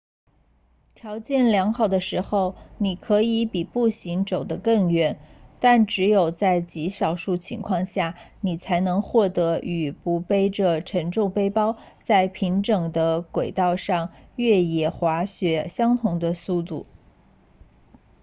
条件良好的时候你可以比步行走得更远但只有在极少数情况下你才能获得与不背着沉重背包在平整的轨道上越野滑雪相同的速度